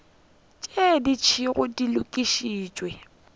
tše di šetšego di lokišitšwe